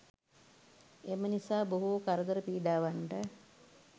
එම නිසා බොහෝ කරදර පීඩාවන්ට